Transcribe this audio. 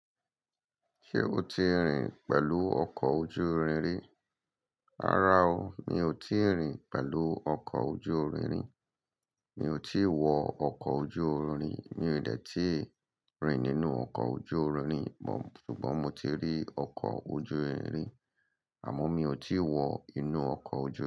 Ṣé o ti rìn pẹ̀lú ọkọ̀ ojú irin rí? Rárá o, mi ò tíì rìn pẹ̀lú ọkọ̀ ojú irin rí. Mi ò tí wọ ọkọ̀ ojú irin, mi ò dẹ̀ tí rìn nínú ọkọ̀ ojú irin. Ṣùgbọ́n mo ti rí ọkọ̀ ojú irin rí àmọ́ mi ò tí wọ inú ọkọ̀ ojú irin.